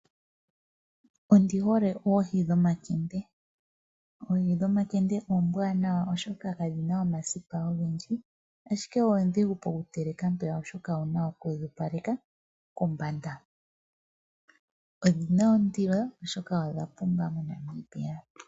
Ondihole oohi dhomakende. Oohi dhomakende oombwanawa oshoka kadhina omasipa ogendji ashike oondhigu pokuteleka oshoka owuna okudhi opaleka kombanda. Odhina ondilo oshoka odha pumba moNamibia.